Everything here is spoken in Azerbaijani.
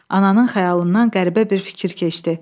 Ananın xəyalından qəribə bir fikir keçdi.